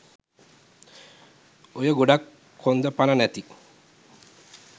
ඔය ගොඩක් කොන්ද පණ නැති